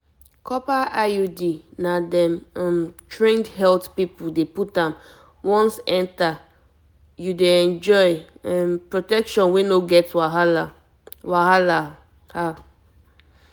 copper iud na dem um trained health people dey put am once enter you dey enjoy um protection wey no get wahala wahala